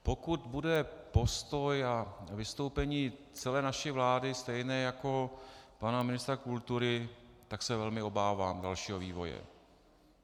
Pokud bude postoj a vystoupení celé naší vlády stejné jako pana ministra kultury, tak se velmi obávám dalšího vývoje.